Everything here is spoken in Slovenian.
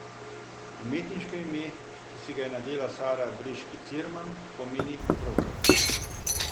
Umetniško ime, ki si ga je nadela Sara Briški Cirman, pomeni krokar.